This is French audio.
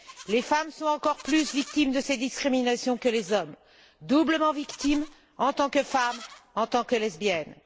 Les femmes sont encore plus victimes de ces discriminations que les hommes, doublement victimes, en tant que femmes et en tant que lesbiennes.